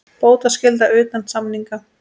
Bótaskylda utan samninga.